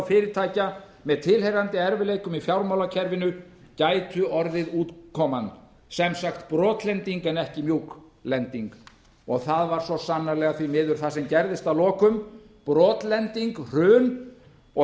fyrirtækja með tilheyrandi erfiðleikum í fjármálakerfinu gætu orðið útkoman sem sagt brotlending en ekki mjúlending það varð svo sannarlega það sem því miður gerðist að lokum brotlending hrun og